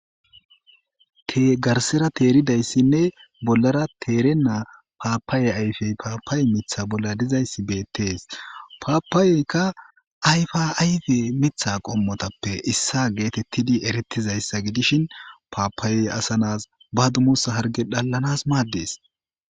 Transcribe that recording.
tgarsera teeridayssinne bollara teerena paapaye ayfey paapaye mitha bolla dizayssi beettees paapaayeyka ayfaayfe mitha qommotappe issa geetettidi erettizayssa gidishin paapayey asanas badumusa harge dhallanas maaddees